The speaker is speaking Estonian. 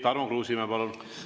Tarmo Kruusimäe, palun!